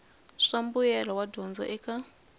swa mbuyelo wa dyondzo eka